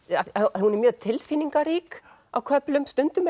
hún er mjög tilfinningarík á köflum stundum er